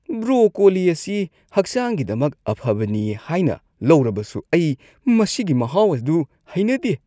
Broccoli ꯑꯁꯤ ꯍꯛꯆꯥꯡꯒꯤꯗꯃꯛ ꯑꯐꯕꯅꯤ ꯍꯥꯏꯅ ꯂꯧꯔꯕꯁꯨ ꯑꯩ ꯃꯁꯤꯒꯤ ꯃꯍꯥꯎ ꯑꯗꯨ ꯍꯩꯅꯗꯦ꯫